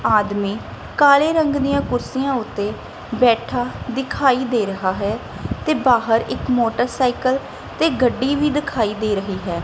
ਆਦਮੀ ਕਾਲੇ ਰੰਗ ਦਿਆਂ ਕੁਰਸੀਆਂ ਓੱਤੇ ਬੈਠਾ ਦਿਖਾਈ ਦੇ ਰਿਹਾ ਹੈ ਤੇ ਬਾਹਰ ਇੱਕ ਮੋਟਰਸਾਈਕਲ ਤੇ ਗੱਡੀ ਵੀ ਦਿਖਾਈ ਦੇ ਰਹੀ ਹੈ।